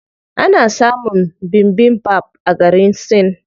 Ana samun bibimbap a garin Sin.